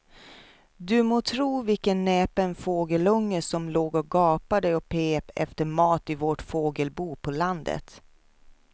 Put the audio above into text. Du må tro vilken näpen fågelunge som låg och gapade och pep efter mat i vårt fågelbo på landet.